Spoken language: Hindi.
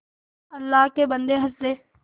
अल्लाह के बन्दे हंस दे